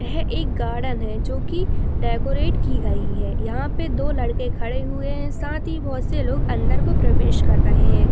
यह एक गार्डन है जो की डेकोरेट की गई है यहाँ पे दो लड़के खड़े हुए है साथ ही बोहोत से लोग अंदर की और प्रवेश क्र रहे है।